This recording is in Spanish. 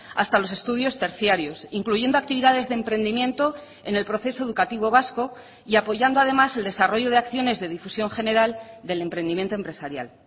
hasta los estudios terciarios incluyendo actividades de emprendimiento en el proceso educativo vasco y apoyando además el desarrollo de acciones de difusión general del emprendimiento empresarial